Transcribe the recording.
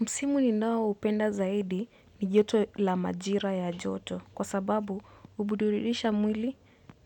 Msimu ninao upenda zaidi ni joto la majira ya joto kwa sababu hubudurilisha mwili